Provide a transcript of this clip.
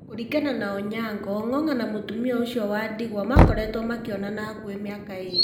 Kũringana na Onyango, Ong’ong’a na mũtumia ũcio wa ndigwa makoretwo makĩonana hakuhĩ mĩaka ĩrĩ.